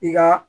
I ka